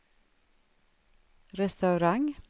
restaurang